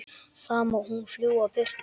Þá má hún fljúga burtu.